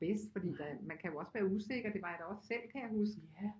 Bedst fordi der man kan da også være usikker det var jeg da også selv kan jeg huske